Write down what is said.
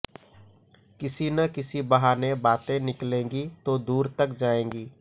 किसी न किसी बहाने बातें निकलेंगी तो दूर तक जाएंगी